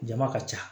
Jama ka ca